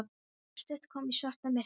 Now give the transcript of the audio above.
Sú stutta kom í svarta myrkri.